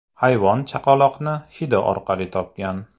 Hayvon chaqaloqni hidi orqali topgan.